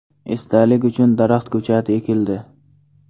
Esdalik uchun daraxt ko‘chati ekildi.